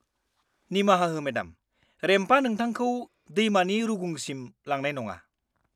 -निमाहा हो मेडाम। रेम्पआ नोंथांखौ दैमानि रुगुंसिम लांनाय नङा।